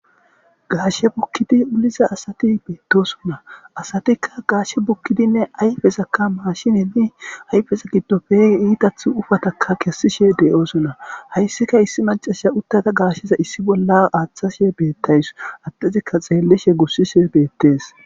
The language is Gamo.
Gaashe bukkidi uliza asati beettosona asatikka gaashe bukkidinne ayfezakka maashineni ayfeza giddo pegi iitathu ufatakka kessishe de'oosonna hayssika issi macasha uttata gaasheza issi bolla aaththashe beettays attesikka xeellishe gussishe beettees.